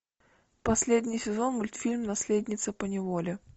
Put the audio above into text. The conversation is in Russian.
последний сезон мультфильм наследница по неволе